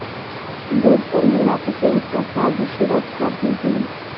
गोडसे ने बापू की हत्या साज़िश रच कर की थी